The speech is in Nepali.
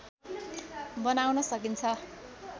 बनाउन सकिन्छ